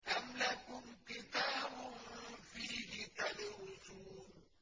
أَمْ لَكُمْ كِتَابٌ فِيهِ تَدْرُسُونَ